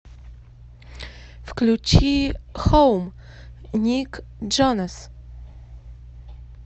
включи хоум ник джонас